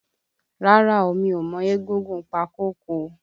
Rárá o, mi ò mọ egúngún Pákọ̀kọ̀.